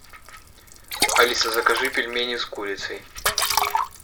алиса закажи пельмени с курицей